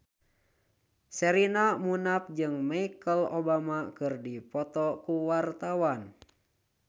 Sherina Munaf jeung Michelle Obama keur dipoto ku wartawan